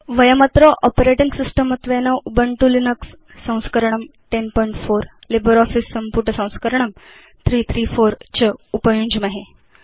वयमत्र operating system त्वेन Ubuntu Linux संस्करणं1004 LibreOffice संपुटसंस्करणं 334 च उपयुञ्ज्महे